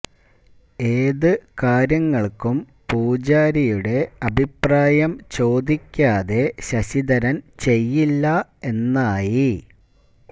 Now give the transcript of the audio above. ഏത് കാര്യങ്ങൾക്കും പൂജാരിയുടെ അഭിപ്രായം ചോദിക്കാതെ ശശിധരൻ ചെയ്യില്ല എന്നായി